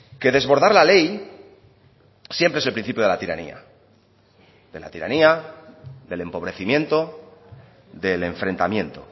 que desbordar la ley siempre es el principio de la tiranía de la tiranía del empobrecimiento del enfrentamiento